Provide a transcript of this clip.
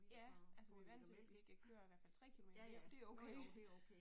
Ja, altså vi vant til at vi skal køre i hvert fald 3 kilometer og det okay